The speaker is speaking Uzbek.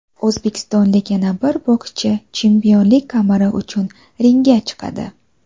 O‘zbekistonlik yana bir bokschi chempionlik kamari uchun ringga chiqadi.